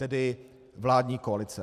Tedy vládní koalice.